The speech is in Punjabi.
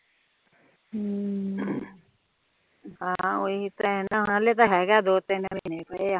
ਹਮ ਓਹੀ ਤਾ ਹੈ ਨਾ ਹਲੇ ਤਾ ਹੇਗਾ ਦੋ ਤਿੰਨ ਮਹੀਨੇ ਪਏ ਆ